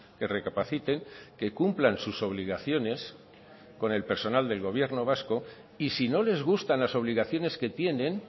que recapaciten que cumplan sus obligaciones con el personal del gobierno vasco y si no les gustan las obligaciones que tienen